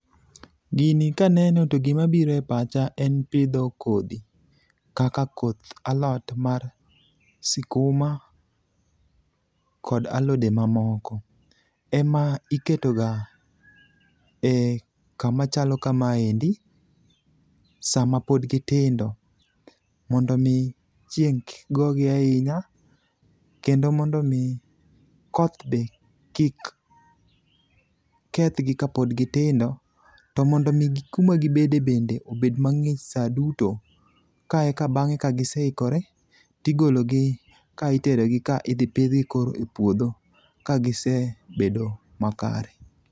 Gini kaneno to gimabiro e pacha en pidho kodhi kaka koth alot mar sikuma kod alode mamoko, ema iketoga e kama chalo kama endi sama pod gitindo, mondo omi chieng' kik gogi ahinya, kendo mondo omi koth be kik kethgi kapod gitindo, to mondo omigi kuma gibede bende obed mang'ich sa duto ka eka bang'e ka giseikore, tigologi ka iterogi ka idhi pidhgi koro e puodho ka gisebedo makare.